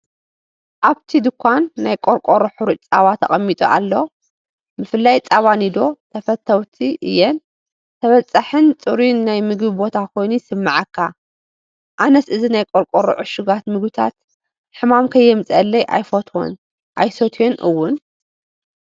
ኣብቲ ድኳን ናይ ቆርቆሮ ሕሩጭ ጸባ ተቐሚጡ ኣሎ። ብፍላይ “ጸባ ኒዶ” ተፈተውቲ እየን። ተበጻሒን ጽሩይን ናይ ምግቢ ቦታ ኮይኑ ይስምዓካ፣ ኣነስ እዚ ናይ ቆርቆሮ ዕሹጋት ምግብታት ሕማም ከየምፅአለይ ኣየፈትዎን ኣይሰትዮን ውን፡፡